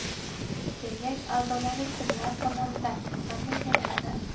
Kengash a’zolari kimlar tomonidan, qanday saylanadi?